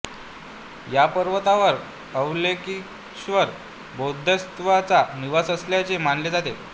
या पर्वतावर अवलोकितेश्वर बोधिसत्वांचा निवास असल्याचे मानले जाते